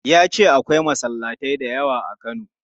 Ya ce akwai masallatai da yawa a Kano.